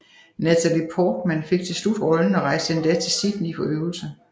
Natalie Portman fik til slut rollen og rejste endda til Sydney for øvelser